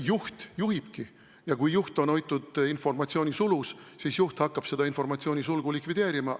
Juht juhibki ja kui juhti on hoitud informatsioonisulus, siis juht hakkab seda informatsioonisulgu likvideerima.